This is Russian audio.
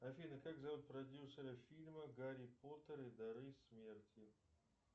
афина как зовут продюсера фильма гарри поттер и дары смерти